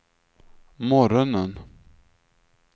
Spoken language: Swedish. morgonen